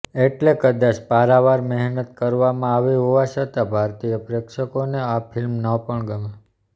એટલે કદાચ પારાવાર મહેનત કરવામાં આવી હોવા છતાં ભારતીય પ્રેક્ષકોને આ ફિલ્મ ન પણ ગમે